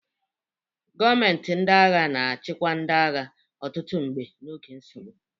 Gọọmenti ndị agha na-achịkwa ndị agha, ọtụtụ mgbe n'oge nsogbu.